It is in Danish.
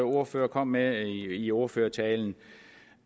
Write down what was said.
ordfører kom med i ordførertalen